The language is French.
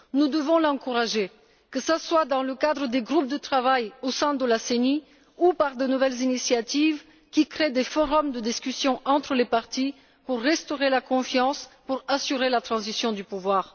Nous devons l'encourager, que ce soit dans le cadre des groupes de travail au sein de la CENI ou par de nouvelles initiatives qui créent des forums de discussion entre les partis, pour restaurer la confiance, pour assurer la transition du pouvoir.